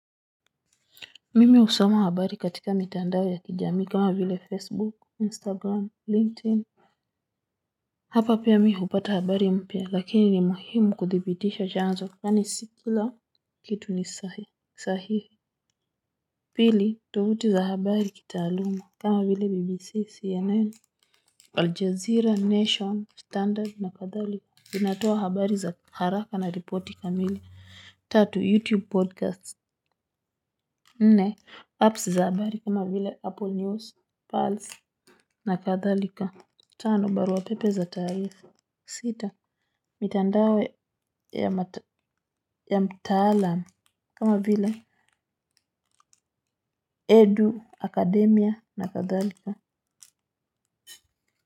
Mimi usoma habari katika mitandao ya kijami kama vile facebook instagram linkedin. Hapa pia mi hupata habari mpya lakini ni muhimu kuthibitisha janzo yaani sikila kitu ni sahihi. Pili tuvuti za habari kitaaluma kama vile bbc cnn Aljazeera nation standard na kadhali vinatoa habari za haraka na ripoti kamili tatu youtube podcast nne apps za habari kama vile apple news pulse na kadhalika tano barua pepe za tarifa sita mitandawe ya mtalam kama vila edu akademia na kadhalika.